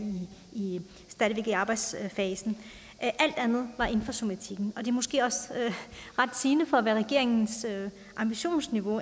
i arbejdsfasen alt andet var inden for somatikken og det er måske også ret sigende for hvad regeringens ambitionsniveau